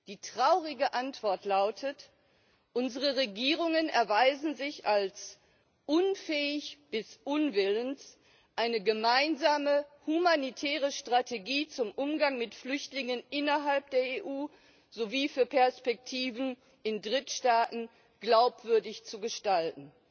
Die traurige Antwort lautet Unsere Regierungen erweisen sich als unfähig bis nicht willens, eine gemeinsame humanitäre Strategie zum Umgang mit Flüchtlingen innerhalb der EU sowie für Perspektiven in Drittstaaten glaubwürdig zu gestalten.